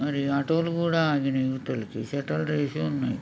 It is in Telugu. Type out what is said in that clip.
మరి ఆటో లు కూడా ఆగినయ్ స్టర్లెట్ ఏస సన్నాయి.